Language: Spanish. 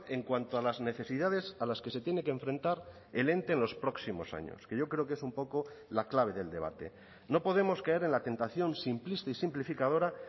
en cuanto a las necesidades a las que se tiene que enfrentar el ente en los próximos años que yo creo que es un poco la clave del debate no podemos caer en la tentación simplista y simplificadora